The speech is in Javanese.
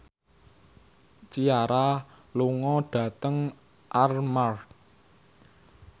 Ciara lunga dhateng Armargh